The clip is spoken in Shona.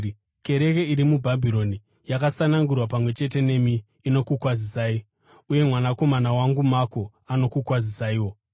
Kereke iri muBhabhironi, yakasanangurwa pamwe chete nemi, inokukwazisai, uye mwanakomana wangu Mako anokukwazisaiwo.